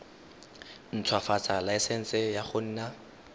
ntshwafatsa laesense ya go nna